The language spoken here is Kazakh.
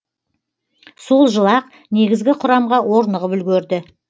сол жылы ақ негізгі құрамға орнығып үлгерді